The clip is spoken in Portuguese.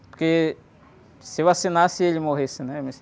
Porque se eu assinasse e ele morresse, né? Eu